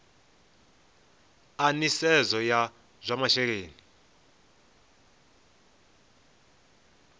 a nisedzo ya zwa masheleni